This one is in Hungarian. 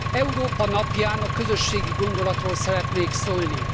Európa napján a közösségi gondolatról szeretnék szólni.